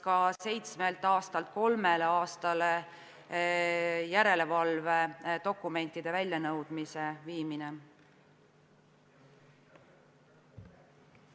Märgin ka järelevalvedokumentide väljanõudmise õiguse lühendamist seitsmelt aastalt kolmele aastale.